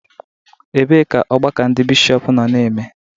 Ebee ka ọgbakọ ndị Bishọp nọ na-eme?